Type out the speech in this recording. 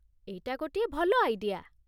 ଏଇଟା ଗୋଟିଏ ଭଲ ଆଇଡିଆ।